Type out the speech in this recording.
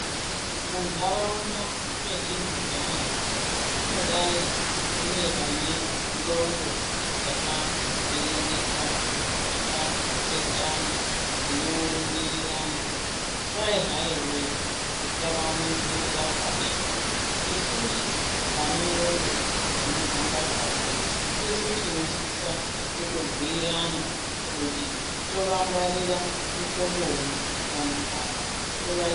Muntaraunda mwetinogara munodai mune vane ndxondo dzakavhiringika dzakapesana dzinorumbirirana kwai hai wee musavaningirira pashi isusu vane ndxondo dzinohamba kahle tisu tinosisa kutobhuirana kuti tovangwarira muhlobonyi vantu ava